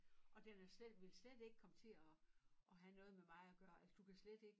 Og den er slet vil slet ikke komme til at at have noget med mig at gøre altså du kan slet ik